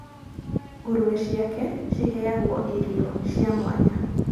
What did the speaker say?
ngũrũwe ciake ciheagwo irio cia mwanya